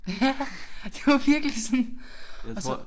Ja det var virkelig sådan og så